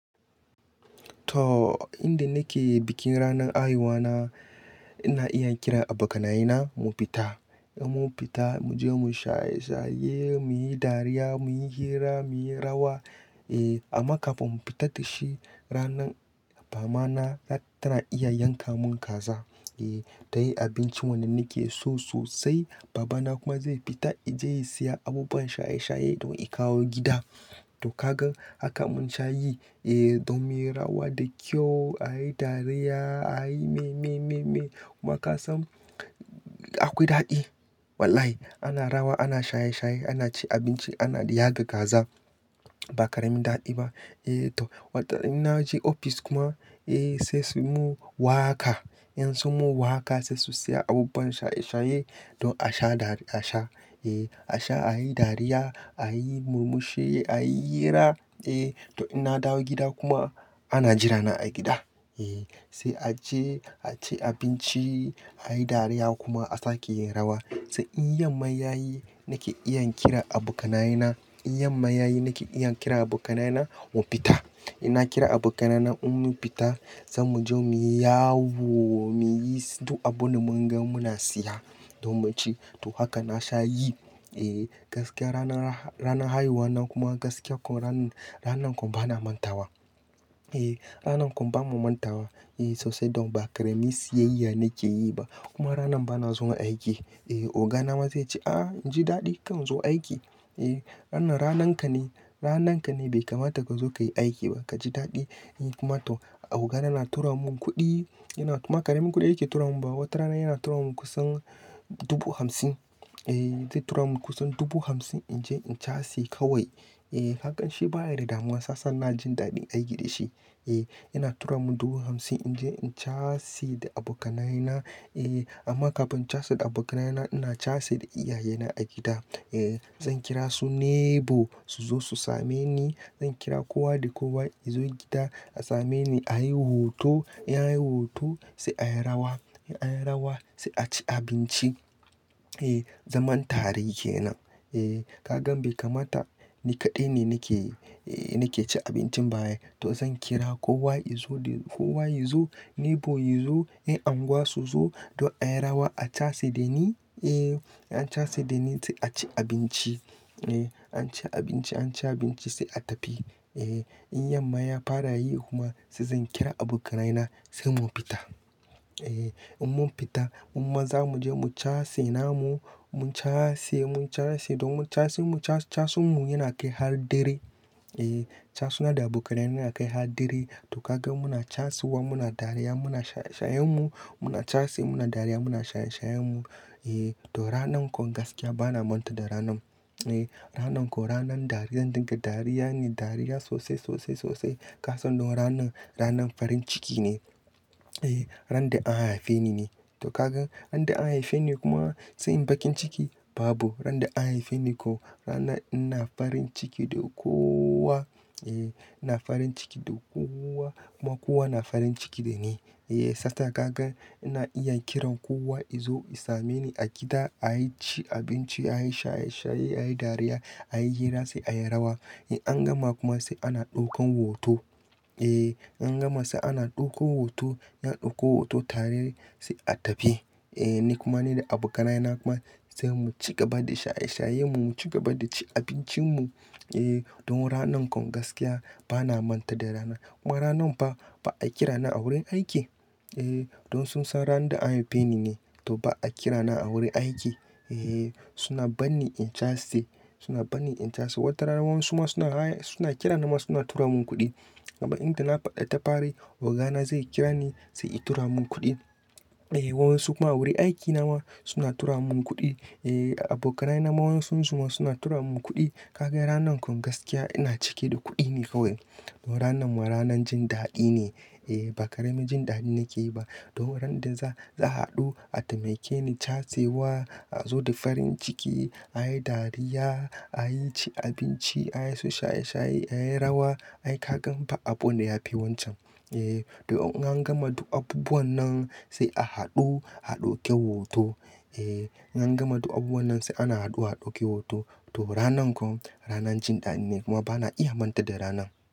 To, inda nake bikin ranar haihuwana ina iya kiran abokanaye na mu fita. In mun fita muje mu shaye shaye, muyi dariya, muyi hira, muyi rawa. Eh, amma kafin mu fita da shi ranar, mama na tana iya yanka mun kaza. Eh, ta yi abincin wanda nake so sosai. Baba na kuma zai fita ije ya siya abubuwan shaye shaye don ya kawo gida. To kagan haka mun sha yi. Eh, don muyi rawa da kyau, a yi dariya, a yi me me me me. Kuma kasan akwai daɗi. Wallahi ana rawa, ana shaye shaye, ana ci abinci, ana yaga kaza ba karamin daɗi ba. Eh to, wato ina je ofis kuma, eh sai su mun waka. In sun mu waka sai su siya abubuwan shaye shaye don a sha dari a sha. Eh, a sha a yi dariya, a yi murmushi, a yi hira. Eh to, ina dawo gida kuma ana jira na a gida. Eh, sai aje aci abinci, a yi dariya kuma a sake yin rawa. Sai in yamma ya yi nake iya kira abokanaye na. In yamma ya yi nake iya kira abokanaye na mu fita. Ina kira abokanaye na in mun fita, zan mu je mu yawo muyi duk abunda mun ga muna siya don mu ci. To haka na sha yi. Eh, gaskiya ranar ha-- ranar haihuwa na kuma gaskiya ko ranan ranan kuma bana manta wa. Ehh, ranan kuma ba mu manta wa. Ehh, sosai don ba karemi siyayya nake yi ba. Kuma ranan bana zuwa aiki. Eh, ogana ma zai ce, ah inji daɗi kar in zo aiki. Eh, wannan nan ranan ka ne, ranan ka ne bai kamata ka zo ka yi aiki ba kaji daɗi. Kuma to, abokaina na na tura mun kuɗi. Yana kuma karemi kuɗi yake tura mun. Wata rana yana tura mun kusan dubu hamsin. Eh, zai tura mun kusan dubu hamsin inji in chase kawai. Eh, hakan shi baya da damuwa shiyasa ina jin daɗin aiki da shi. Eh, yana tura mun dubu hamsin inji in chase da abokanaye na. Eh, amma kafin chase da abokanaye na, ina chase da iyaye na a gida. Eh, zan kira su neighbor su zo su same ni. Zan kira kowa da kowa yazo gida a same ni a yi hoto. In anyi hoto sai a yi rawa. In an yi rawa sai a ci abinci. Eh, zaman tare kenan. Eh, kagan bai kamata ni kaɗai ne nake, eh nake ci abincin ba ai. To zan kira kowa yazo da kowa yazo, neighbor yazo, eh anguwa su zo don a yi rawa a chase da ni. Eh, an chase da ni sai a ci abinci. Eh, an ci abinci, an ci abinci sai a tafi. Eh, in yamma ya fara yi kuma sai zan kira abokanaye na sai mu fita. Eh, in mun fita, mumma zamu je mu chase namu, mu chase, mu chase don chase chase chasun mu yana kai har dare. Eh, chasu na da abokanaye na yana kai har dare. To kaga muna chasu wa muna dariya muna shaye shayen mu. Muna chase muna dariya muna shaye shayen mu. Eh, to ranan kuma gaskiya bana manta da ranan. Eh, ranan ko ranan dariya zan dinga dariya ne, dariya sosai sosai sosai. Kasan de ranan ranan farin ciki ne. Eh, ran da an haife ni ne. To kaga, inda an haife ni kuma sai in baki ciki? Babu. Ran da an haife ni ko rana ina farin ciki da kowa. Eh, ina farin ciki da kowa kuma kowa yana farin ciki da ni. Eh, sata ka gan ina iya kiran kowa yazo ya same. Ni a gida ayi ci abinci, a yi shaye shaye, a yi dariya, a yi hira sai a yi rawa. In an gama kuma sai ana ɗaukan hoto. Eh, an gama sai ana ɗauko hoto. In an ɗauko hoto tare sai a tafi. Eh, ni kuma ni da abokanaye na kuma sai mu ci gaba da shaye shayen mu, mu ci gaba da ci abincin mu. Eh, don ranan kom gaskiya bana manta da rana. Kuma ranan ba, ba a kira na a wurin aiki. Eh, don sun san ran da an haife ni ne, to ba a kira na a wurin aiki. Eh suna banni in case. Suna bani in chase. Wata rana wani suma suna haya suna kira na ma suna tura mun kuɗi. Amma inda na faɗa tafari ogana zai kira ni sai i tura mun kuɗi. Eh, wa wansu kuma wurin aiki na ma suna tura mun kuɗi. Eh, abokanaye na ma wan sun suma suna tura mun kuɗi. Ka ga ranan kom gaskiya ina cike da kuɗi ne kawai. Don ranan ma ranan jin daɗi ne. Eh, ba karemi jin daɗi nake yi ba. Don ran da za, za a haɗu a taimake ni chase wa, a zo da farin ciki, a yi dariya, a yi ci abinci, a yi so shaye shaye, a yi rawa. Ai kagan ba abunda yafi wancan. Eh, to in an gama duk abubuwan nan sai a haɗu, a dauke hoto. Eh, in an gama duk abubuwan nan sai ana haɗu haɗu ake hoto. To ranan kom ranan jin daɗi ne kuma bana iya manta da ranan.